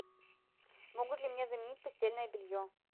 могут ли мне заменить постельное белье